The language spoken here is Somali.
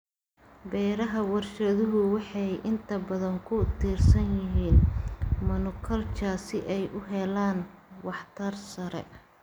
Beeraha warshaduhu waxay inta badan ku tiirsan yihiin monoculture si ay u helaan waxtar sare.